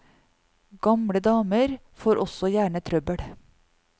Gamle damer får også gjerne trøbbel.